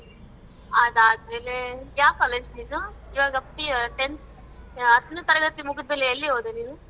ಅದ್ ಆದ್ಮೇಲೆ ಯಾವ್ college ನಿಂದು ಇವಾಗ pu tenth ಹತ್ನೆ ತರಗತಿ ಮುಗ್ದ್ಮೇಲೆ ಎಲ್ಲಿ ಹೋದೆ ನೀನು?